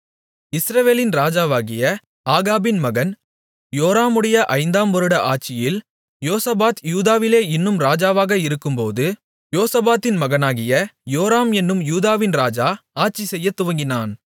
இஸ்ரவேலின் ராஜாவாகிய ஆகாபின் மகன் யோராமுடைய ஐந்தாம் வருட ஆட்சியில் யோசபாத் யூதாவிலே இன்னும் ராஜாவாக இருக்கும்போது யோசபாத்தின் மகனாகிய யோராம் என்னும் யூதாவின் ராஜா ஆட்சிசெய்யத் துவங்கினான்